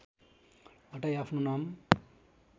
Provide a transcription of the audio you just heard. हटाई आफ्नो नाम